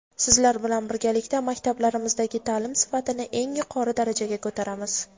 sizlar bilan birgalikda maktablarimizdagi ta’lim sifatini eng yuqori darajaga ko‘taramiz.